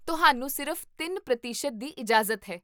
ਤੁਹਾਨੂੰ ਸਿਰਫ਼ ਤਿੰਨ ਪ੍ਰਤੀਸ਼ਤ ਦੀ ਇਜਾਜ਼ਤ ਹੈ